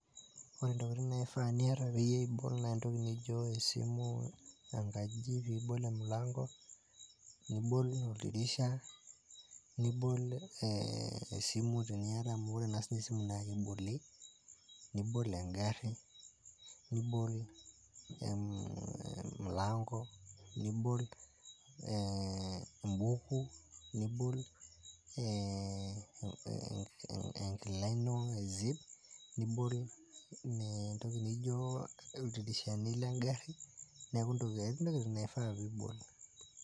Ore intokitin naifaa peyie niata nitiu anaa esimu, enkaji pee ibolie emulango, nibol oldirisha, nibol esimu teniata amu kore taa siininye esimu naa keboli, nibol engari, nibol emulango, nibol embuku nibol enkila ino esip nibol intokitin naijoiye ildirishani le ngarri neaku etii intokitin nafaa piibol.